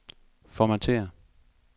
Formatér.